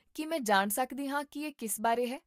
ਕੀ ਮੈਂ ਜਾਣ ਸਕਦੀ ਹਾਂ ਕਿ ਇਹ ਕਿਸ ਬਾਰੇ ਹੈ?